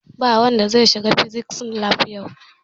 Ba wanda zai shiga fisis lab yau!